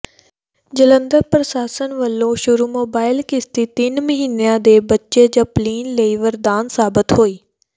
ਜਲੰਧਰ ਪ੍ਰਸ਼ਾਸਨ ਵਲੋਂ ਸ਼ੁਰੂ ਮੋਬਾਇਲ ਕਿਸ਼ਤੀ ਤਿੰਨ ਮਹੀਨਿਆਂ ਦੇ ਬੱਚੇ ਜਪਲੀਨ ਲਈ ਵਰਦਾਨ ਸਾਬਤ ਹੋਈ